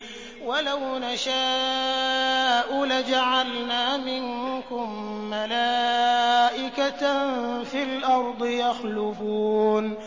وَلَوْ نَشَاءُ لَجَعَلْنَا مِنكُم مَّلَائِكَةً فِي الْأَرْضِ يَخْلُفُونَ